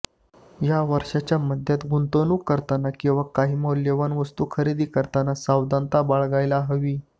या वर्षाच्या मध्यात गुंतवणूक करताना किंवा काही मौल्यवान वस्तू खरेदी करताना सावधानता बाळगायला हवी